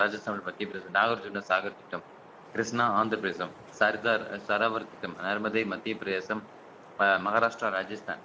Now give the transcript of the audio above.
ராஜஸ்தான் மத்தியப்பிரதேச நாகார்ஜூனா சாகர் திட்டம் கிருஷ்ணா ஆந்திர பிரதேசம் சர்தார் சரவர் திட்டம் அனுமதே மத்திய பிரதேசம் ம~ மகாராஷ்டிரா ராஜஸ்தான்